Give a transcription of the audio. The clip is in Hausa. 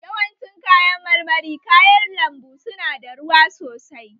Yawancin kayan marmari kayan lambu su na dawa ruwa sosai